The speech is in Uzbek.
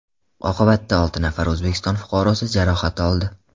Oqibatda olti nafar O‘zbekiston fuqarosi jarohat oldi.